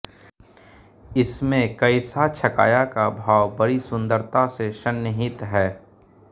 इसमें कैसा छकाया का भाव बड़ी सुंदरता से सन्निहित है